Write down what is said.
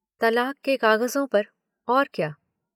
तलाक के कागज़ों पर, और क्या।